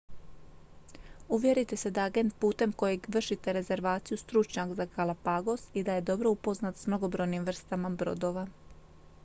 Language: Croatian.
uvjerite se da je agent putem kojeg vršite rezervaciju stručnjak za galapagos i da je dobro upoznat s mnogobrojnim vrstama brodova